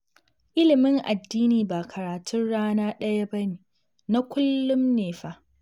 Ilimin addini ba karatun rana ɗaya ba ne, na kullum ne fa